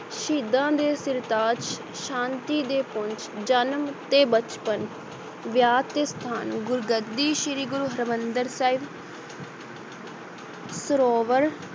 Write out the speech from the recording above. ਸ਼ਹੀਦਾਂ ਦੇ ਸਰਤਾਜ, ਸ਼ਾਂਤੀ ਦੇ ਪੁੰਜ, ਜਨਮ ਤੇ ਬਚਪਨ, ਵਿਆਹ ਤੇ ਸੰਤਾਨ, ਗੁਰਗੱਦੀ, ਸ੍ਰੀ ਗੁਰੂ ਹਰਿਮੰਦਰ ਸਾਹਿਬ ਸਰੋਵਰ